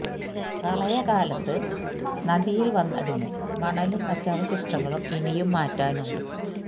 പ്രളയ കാലത്ത് നദിയില് വന്നടിഞ്ഞ് മണലും മറ്റ് അവശിഷ്ടങ്ങളും ഇനിയും മാറ്റാനുണ്ട്